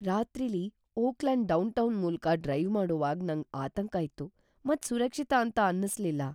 ರಾತ್ರಿಲಿ Oakland downtown ಮೂಲ್ಕ drive ಮಾಡೋವಾಗ್ ನಂಗ್ ಆತಂಕ ಇತ್ತು ಮತ್ ಸುರಕ್ಷಿತ ಅಂತ ಅನಿಸ್ಲಿಲ್ಲ.